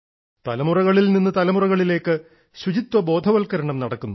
തലമുറകളിൽ നിന്ന് തലമുറകളിലേക്ക് ശുചിത്വ ബോധവൽക്കരണം നടക്കുന്നു